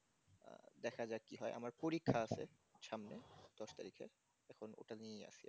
দেখা যাক কি হয় আমার পরীক্ষা আছে সামনে দশ তারিখে এখন ওটা নিয়েই আছি